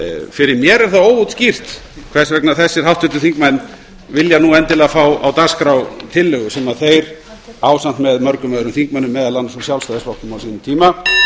fyrir mér er það óútskýrt hvers vegna þessir háttvirtir þingmenn vilja nú endilega fá á dagskrá tillögu sem þeir ásamt með mörgum öðrum þingmönnum meðal annars úr sjálfstæðisflokknum á sínum tíma